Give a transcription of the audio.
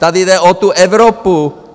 Tady jde o tu Evropu!